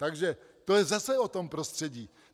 Takže to je zase o tom prostředí.